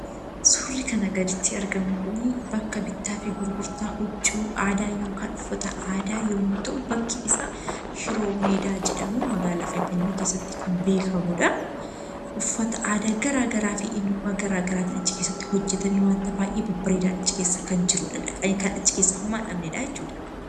Suurri kanaa gaditti argamu kuni bakka bittaafi gurgurtaa huccuu aadaa (uffata aadaa) yommuu ta'u, bakki isaa 'Shiroo Meedaa' jedhamuun magaalaa Finfinnee keessatti kan beekamuu dha. Uffata aadaa garaagaraa fi eenyummaa garaagaraatiin achi keessatti hojjetamee wanta baay'ee babbareedaan achi keessa kan jiruudha. Dhaqanii kan achi keessaa homaa hin dhabnee dha jechuudha.